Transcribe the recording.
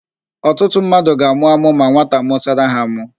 Ọtụtụ mmadụ ga-àmụ́ ámụ́ ma nwata mụsara ha ámụ́.